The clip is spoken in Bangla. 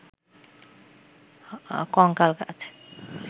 কঙ্কাল গাছ